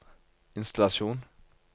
innstallasjon